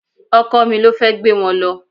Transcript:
Ọkọ mi ló fẹ́ gbé wọn lọ